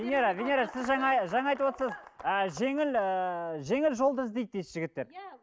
венера венера сіз жаңа жаңа айтып отырсыз ы жеңіл ыыы жеңіл жолды іздейді дейсіз жігіттер иә